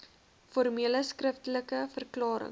formele skriftelike verklarings